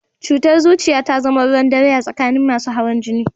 Cutar zuciya ta zama ruwan dare a tsakanin masu hawan jini